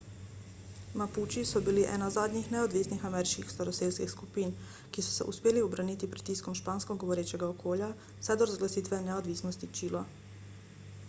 mapuči so bili ena zadnjih neodvisnih ameriških staroselskih skupin ki so se uspeli ubraniti pritiskom špansko govorečega okolja vse do razglasitve neodvisnosti čila